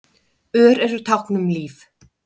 Ör eru tákn um líf.